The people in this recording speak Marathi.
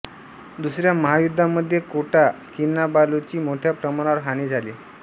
दुसऱ्या महायुद्धामध्ये कोटा किनाबालूची मोठ्या प्रमाणावर हानी झाली